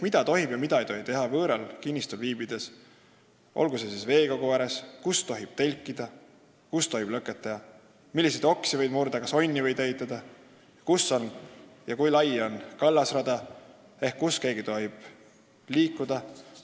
Mida tohib ja mida ei tohi teha võõral kinnistul viibides, sh veekogu ääres: kus tohib telkida ja lõket teha, milliseid oksi võib murda, kas onni võib ehitada, kus ja kui lai on kallasrada ehk kus keegi liikuda tohib?